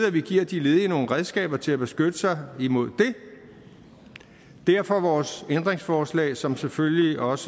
at vi giver de ledige nogle redskaber til at beskytte sig imod det derfor vores ændringsforslag som selvfølgelig også